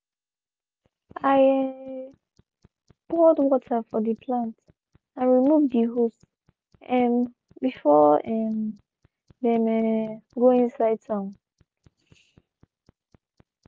i poured water for de plant and removed de hose um before um dem um go inside town.